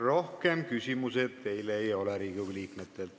Rohkem küsimusi teile Riigikogu liikmetelt ei ole.